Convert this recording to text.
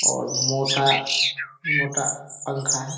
और मोटा मोटा पंखा है।